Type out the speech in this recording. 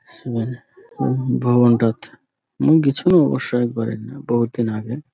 ভুবন রাত মুই গিছিনু অবশ্য একবার এক বহুত দিন আগে।